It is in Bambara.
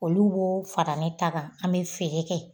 Olu b'o fara ne ta kan an bi feere kɛ